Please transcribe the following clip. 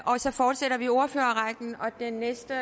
og så fortsætter vi ordførerrækken den næste